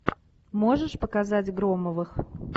можешь показать громовых